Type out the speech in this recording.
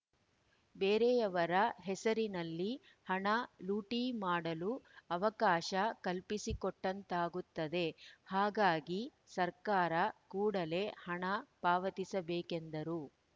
ಬೇರೆಯವರ ಹೆಸರಿನಲ್ಲಿ ಹಣ ಲೂಟಿ ಮಾಡಲು ಅವಕಾಶ ಕಲ್ಪಿಸಿಕೊಟ್ಟಂತಾಗುತ್ತದೆ ಹಾಗಾಗಿ ಸರ್ಕಾರ ಕೂಡಲೇ ಹಣ ಪಾವತಿಸಬೇಕೆಂದರು